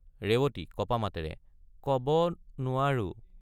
ৰেৱতী— কঁপা মাতেৰে ক—ব—নোৱাৰো।